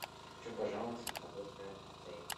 хочу пожаловаться на работу отеля